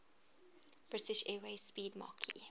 british airways 'speedmarque